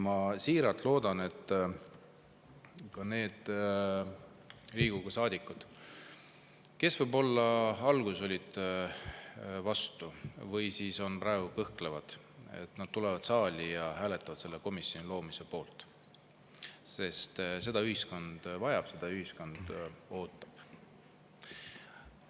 Ma siiralt loodan, et ka need Riigikogu saadikud, kes võib-olla alguses olid vastu või siis on praegu kõhklevad, tulevad saali ja hääletavad selle komisjoni loomise poolt, sest seda ühiskond vajab, seda ühiskond ootab.